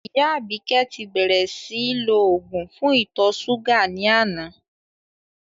Ìyá Àbíkẹ́ ti bẹ́rẹ́ síì lò òògùn fún ìtọ̀ ṣúgà ní àná